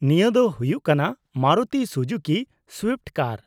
-ᱱᱤᱭᱟᱹ ᱫᱚ ᱦᱩᱭᱩᱜ ᱠᱟᱱᱟ ᱢᱟᱨᱤᱛᱩ ᱥᱩᱡᱩᱠᱤ ᱥᱩᱭᱤᱯᱷᱴ ᱠᱟᱨ ᱾